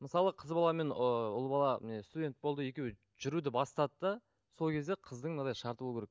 мысалы қыз бала мен ыыы ұл бала міне студент болды екеуі жүруді бастады да сол кезде қыздың мынандай шарты болу керек